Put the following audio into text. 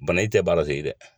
Bana in te ba la segin dɛ.